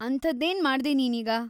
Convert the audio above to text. ಅಂಥದ್ದೇನ್ ಮಾಡ್ದೆ ನೀನೀಗ?